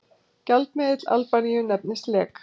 gjaldmiðill albaníu nefnist lek